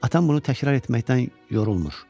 Atam bunu təkrar etməkdən yorulmur.